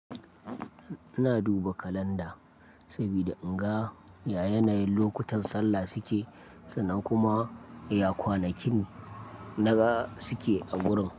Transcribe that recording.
Ina duba kalanda sabida in ga ya yanayin lokutan sallah suke sannan kuma ya kwanakin na ga suke a gurin.